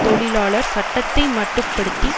தொழிலாளர் சட்டத்தை மட்டுப்படுத்தி